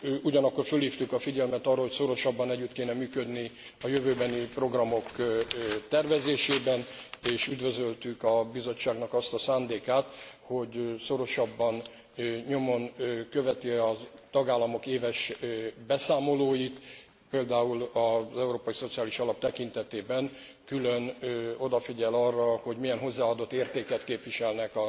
Ugyanakkor fölhívtuk a figyelmet arra, hogy szorosabban együtt kéne működni a jövőbeni programok tervezésében, és üdvözöltük a Bizottságnak azt a szándékát, hogy szorosabban nyomon követi a tagállamok éves beszámolóit, például az Európai Szociális Alap tekintetében külön odafigyel ara, hogy milyen hozzáadott értéket képviselnek